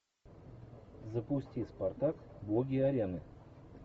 запусти спартак боги арены